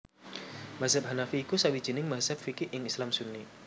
Mazhab Hanafi iku sawijining mazhab fiqih ing Islam Sunni